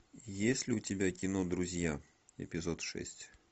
есть ли у тебя кино друзья эпизод шесть